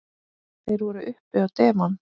Þeir voru uppi á devon.